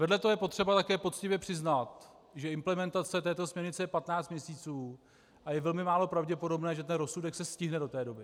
Vedle toho je potřeba také poctivě přiznat, že implementace této směrnice je 15 měsíců a je velmi málo pravděpodobné, že se rozsudek se stihne do té doby.